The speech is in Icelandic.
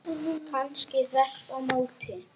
Kannski þvert á móti.